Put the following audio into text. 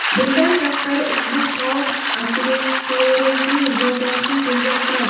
Bundan tashqari, ushbu taom aterosklerozning rivojlanishini tezlashtiradi.